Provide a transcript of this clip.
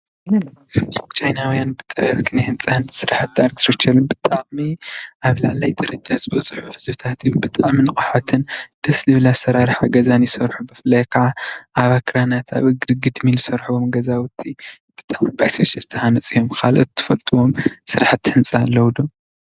ቻይናውያን ብጥበብ ኪነ ህንፃ ስራሕ'ቲ ኣርቲተክቸርን ብጣዕሚ ዓብላላይ ደረጃ ዝበፅሑ ህዝብታት እዮም ብጣዕሚ ንቁሓትን ደስ ዝብል ኣሰራርሓ ገዛን ዝሰርሑ ብፍላይ ከዓ ኣብ ኣክራናት ኣብ እግሪ ግድሚ ዝሰርሕዎ ገዛዉቲ ዝተሃነፁ እዮም ካልኦት ትፈልጥዎም ስራሕ'ቲ ህንፃ ኣለዉ ዶ?